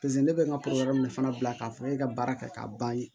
Paseke ne bɛ n ka fana bila k'a fɔ e ka baara kɛ ka ban